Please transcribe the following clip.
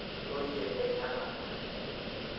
intoyie enyanak.